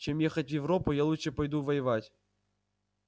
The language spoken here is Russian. чем ехать в европу я лучше пойду воевать